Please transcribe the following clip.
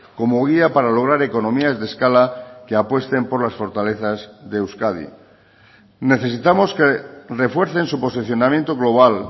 como guía para lograr economías de escala que apuesten por las fortalezas de euskadi necesitamos que refuercen su posicionamiento global